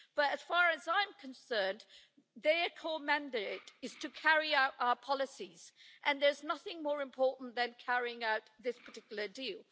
But as far as I'm concerned, their core mandate is to carry out our policies, and there's nothing more important than carrying out this particular deal.